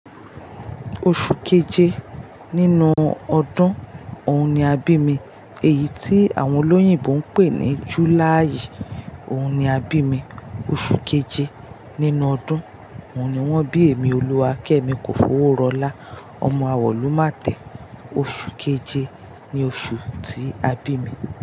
Oṣù keje nínú ọdún ọ̀ún ni a bí mi. Èyí tí àwọn olóyìnbo ń pè ní July, ọ̀ún ni a bí mi. Oṣù keje nínú ọdún, ọ̀ún ni wọ́n bí èmi Olúwakẹ́mi kòfọwọ́rọ́là, ọmọ àwọ̀lu máa tẹ̀. Oṣù keje ni oṣù tí a bí mi.